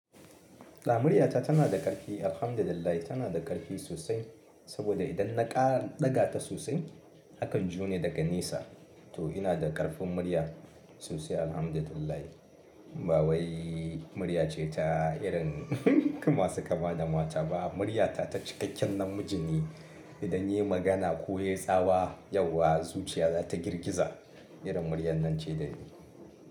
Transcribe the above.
Ɗa muryata tana da ƙarfi, alhamdulillahi tana da ƙarfi sosai saboda idan na ƙara ɗaga ta sosai akan jiyo ni daga nesa. Toh ina da ƙarfin murya sosai alhamdulillahi. Ba wai murya ce ta irin masu kama da mata ba muryata ta cikakken namiji ne. Idan ya yi magana ko ya yi tsawa yauwa zuciya za ta girgiza. Irin muryar nan ce da ni.